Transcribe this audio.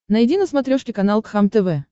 найди на смотрешке канал кхлм тв